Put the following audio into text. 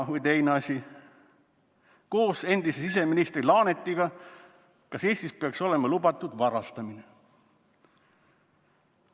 Või teine asi, koos endise siseministri Laanetiga: "Kas Eestis peaks olema lubatud varastamine?